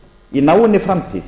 í náinni framtíð